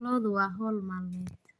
Lo'du waa hawl maalmeed.